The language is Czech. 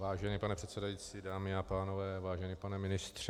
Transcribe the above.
Vážený pane předsedající, dámy a pánové, vážený pane ministře...